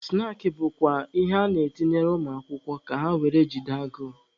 Snaakị bụkwa ihe a na-etinyere ụmụ akwụkwọ ka ha were jide agụụ.